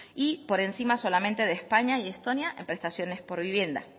y por encima solamente de españa y estonia en prestaciones por vivienda